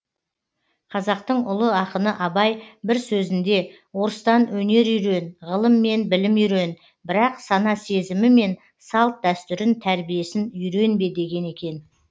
қазақтың ұлы ақыны абай бір сөзінде орыстан өнер үйрен ғылым мен білім үйрен бірақ сана сезімі мен салт дәстүрін тәрбиесін үйренбе деген екен